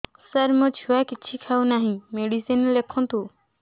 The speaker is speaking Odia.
ସାର ମୋ ଛୁଆ କିଛି ଖାଉ ନାହିଁ ମେଡିସିନ ଲେଖନ୍ତୁ